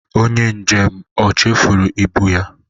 Onye njem o chefuru ibụ ya?